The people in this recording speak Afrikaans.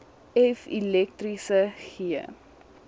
f elektriese g